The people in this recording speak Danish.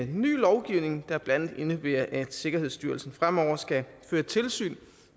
ny lovgivning der blandt andet indebærer at sikkerhedsstyrelsen fremover skal føre tilsyn